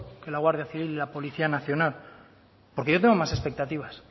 que la guardia civil y la policía nacional porque yo tengo más expectativas